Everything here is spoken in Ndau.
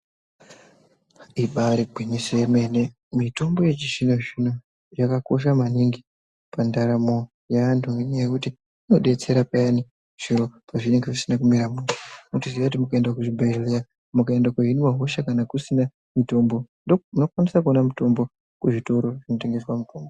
Imba riri gwinyiso remene, mitombo yechizvino-zvino yakakosha maningi pandaramo yeantu ngenyaya yekuti inodetsera payani zviro pezvinenge zvisina kumira mushe, muchiziya kuti mukaenda kuzvibhedhlera mukaenda kohiniwa hosha, kana kusina mitombo, munokwanisa kuona mitombo kuzvitora zvinotengesa mitombo.